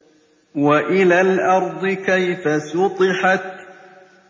وَإِلَى الْأَرْضِ كَيْفَ سُطِحَتْ